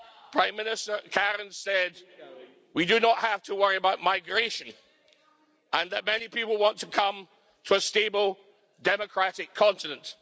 Prime Minister Kariņš said, we do not have to worry about migration, and that many people want to come to a stable, democratic continent.